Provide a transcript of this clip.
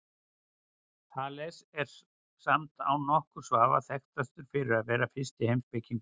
Þales er samt án nokkurs vafa þekktastur fyrir að vera fyrsti heimspekingurinn.